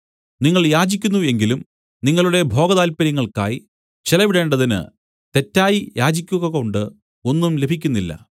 നിങ്ങൾ യാചിക്കുന്നു എങ്കിലും നിങ്ങളുടെ ഭോഗതാല്പര്യങ്ങൾക്കായി ചെലവിടേണ്ടതിന് തെറ്റായി യാചിക്കുകകൊണ്ട് ഒന്നും ലഭിക്കുന്നില്ല